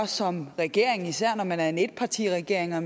som regering især når man er en etpartiregering og